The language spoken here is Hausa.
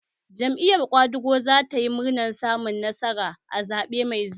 Jam'iyar ƙwadago za ta yi murnar samun nasara a zaɓe mai zuwa